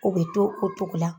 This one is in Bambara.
U be to o cogo la.